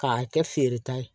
K'a kɛ feere ta ye